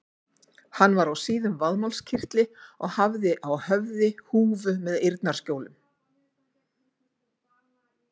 Hann var á síðum vaðmálskyrtli og hafði á höfði húfu með eyrnaskjólum.